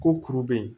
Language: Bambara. Ko kuru be yen